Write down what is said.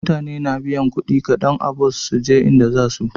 Mutane na biyan kudi kadan a bus suje inda zasuje